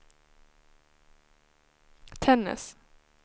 Tännäs